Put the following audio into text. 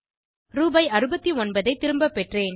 ரூபாய் 69 ஐ திரும்ப பெற்றேன்